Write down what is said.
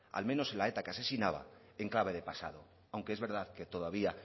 al menos de la eta que asesinaba en clave de pasado aunque es verdad que todavía